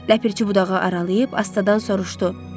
Ləpirçi budağı aralayıb astadan soruşdu: